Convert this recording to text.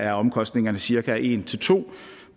er omkostningerne cirka en to